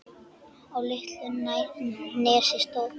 Á litlu nesi stóð